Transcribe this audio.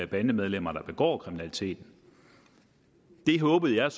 bandemedlemmer der begår kriminalitet der håbede jeg